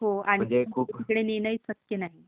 आणि कुठे नेणं पण शक्य नाही